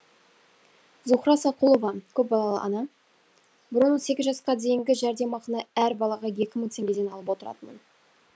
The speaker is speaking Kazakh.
зухра сақұлова көпбалалы ана бұрын он сегіз жасқа дейінгі жәрдемақыны әр балаға екі мың теңгеден алып отыратынмын